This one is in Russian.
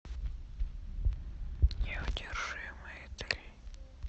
неудержимые три